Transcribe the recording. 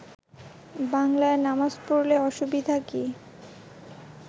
বাংলায় নামাজ পড়লে অসুবিধা কি